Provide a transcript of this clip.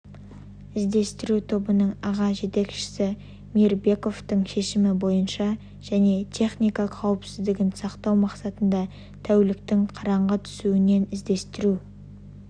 іздестіру тобының аға жетекшісі мейірбековтің шешімі бойынша және техника қауіпсіздігін сақтау мақсатында тәуліктің қараңғы түсуінен іздестіру